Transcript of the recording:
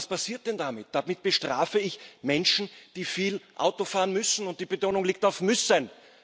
Was passiert denn damit? Damit bestrafe ich Menschen, die viel Auto fahren müssen und die Betonung liegt auf müssen.